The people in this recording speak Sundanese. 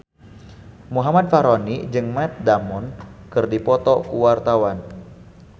Muhammad Fachroni jeung Matt Damon keur dipoto ku wartawan